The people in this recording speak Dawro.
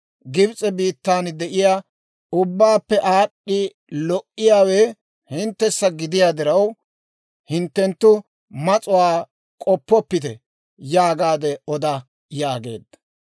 Gibs'e biittan de'iyaa ubbaappe aad'd'i lo"iyaawe hinttessa gidiyaa diraw, hinttenttu mas'uwaa k'oppoppite› yaagaade oda» yaageedda.